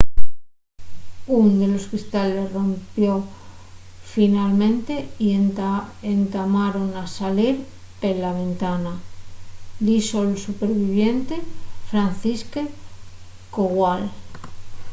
ún de los cristales rompió finalmente y entamaron a salir pela ventana” dixo’l superviviente fanciszek kowal